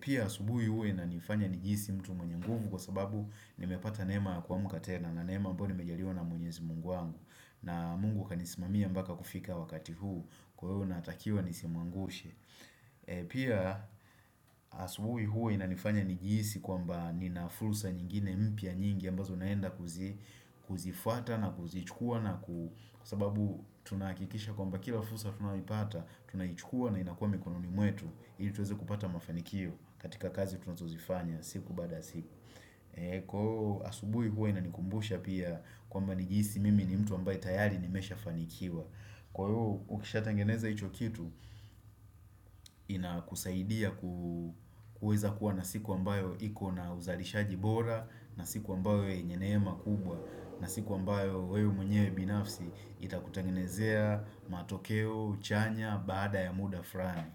Pia asubuhi huwa ina nifanya nijiisi mtu mwenye nguvu Kwa sababu ni mepata nema kuamuka tena na nema ambayo ni mejaliwa na mwenyezi mungu wangu na mungu kanisimamia mbaka kufika wakati huu Kwa hiyo natakiwa nisimuangushe Pia asubuhi huo inanifanya nijiisi kwamba ninafursa nyingine mpya nyingi ambazo naenda kuzifuata na kuzichukua na kusababu tunaakikisha kwamba kila fursa tunapata tunaichukua na inakuwa mikononi mwetu ili tuweze kupata mafanikio katika kazi tunazuzifanya siku baada siku Kwa asubuhi huwa inanikumbusha pia kwamba nijiisi mimi ni mtu ambaye tayari nimeshafanikiwa Kwa hio ukisha tangeneza icho kitu, inakusaidia kuweza kuwa na siku ambayo iko na uzalishaji bora, na siku ambayo yenye nema kubwa, na siku ambayo wewe mnyewe binafsi itakutangenezea matokeo, chanya, baada ya muda fulani.